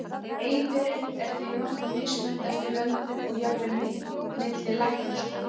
eiðurinn er því nokkuð mismunandi eftir löndum og jafnvel milli læknaskóla